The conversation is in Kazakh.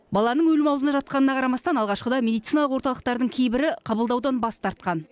баланың өлім аузында жатқанына қарамастан алғашқыда медициналық орталықтардың кейбірі қабылдаудан бас тартқан